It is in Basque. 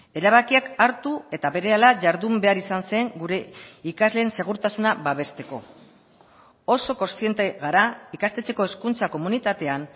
erabakiak hartu eta berehala jardun behar izan zen gure ikasleen segurtasuna babesteko oso kontziente gara ikastetxeko hezkuntza komunitatean